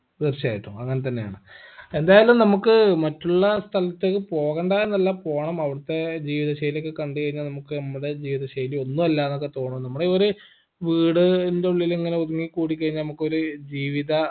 തീർച്ചയായിട്ടും അങ്ങൻതന്നേണ് എന്തായാലും നമ്മുക്ക് മറ്റുള്ള സ്ഥലത്തേക്ക് പോകണ്ട എന്നല്ല പോണം അവിടുത്തെ രീതി ശൈലിയൊക്കെ കണ്ട് കൈന നമ്മക്ക് നമ്മുടെ ജീവിതശൈലി ഒന്ന് അല്ലാന്നൊക്കെ തോന്നും നമ്മുടെ ഒരു വീടിൻറെ ഉള്ളില് ഇങ്ങനെ ഒതുങ്ങി കൂടിക്കയ്‌ന നമ്മക്കൊരു ജീവിത